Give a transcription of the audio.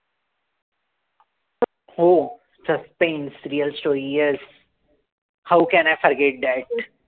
हो. Suspense real story yes. How can I forget that?